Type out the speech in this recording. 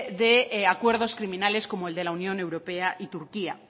de acuerdos criminales como el de la unión europea y turquía